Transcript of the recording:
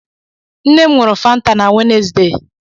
Nnem nuru fanta na Wenezde